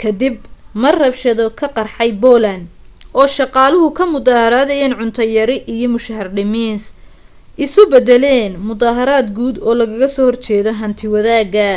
ka dib mar rabshado ka qarxay poland oo shaqaaluhu ka mudaharaadayeen cunto yari iyo mushahar dhimis isu beddeleen muddaharaad guud oo lagaga soo horjeedo hanti-wadaagga